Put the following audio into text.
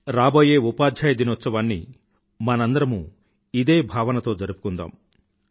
రాబోయే ఉపాధ్యాయ దీనోత్సవాన్ని మనందరమూ ఇదే భావంతో జరుపుకుందాం